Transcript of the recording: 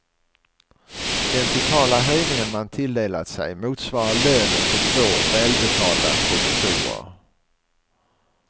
Den totala höjningen man tilldelat sig motsvarar lönen för två välbetalda professorer.